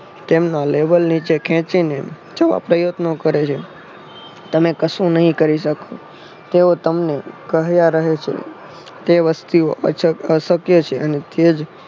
તેમના લેવલ નીચે ખેંચીને જોવા પ્રયત્નો કરે છે. તમે કશું નહિ કરી શકો તેઓ તમને કહ્યા રહે છે તે વસ્તીઓ અછત અશક્ય છે અને તેજ